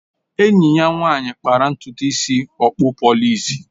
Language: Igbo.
Enyi ya nwanyị kpara ntutu isi okpụ polịs